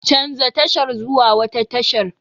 Canja tashar zuwa wata tashar!